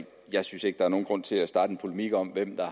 jeg synes ikke er nogen grund til at starte en polemik om hvem der